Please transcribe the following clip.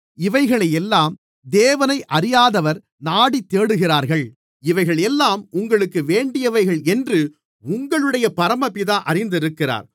இவைகளையெல்லாம் தேவனை அறியாதவர் நாடித்தேடுகிறார்கள் இவைகளெல்லாம் உங்களுக்கு வேண்டியவைகள் என்று உங்களுடைய பரமபிதா அறிந்திருக்கிறார்